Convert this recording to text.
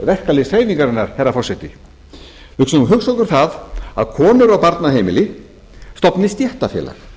verkalýðshreyfingarinnar herra forseti nú skulum við hugsa okkur það að konur á barnaheimili stofni stéttarfélag þeim